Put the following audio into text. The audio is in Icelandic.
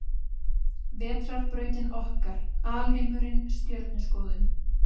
Vetrarbrautin okkar Alheimurinn Stjörnuskoðun.